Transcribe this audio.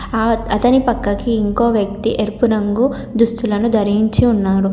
ఆ అతని పక్కకి ఇంకో వ్యక్తి ఎరుపు రంగు దుస్తులను ధరించి ఉన్నాడు.